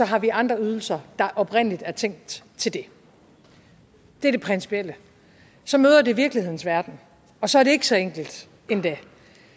har vi andre ydelser der oprindelig er tænkt til det det er det principielle så møder det virkelighedens verden og så er det ikke så enkelt endda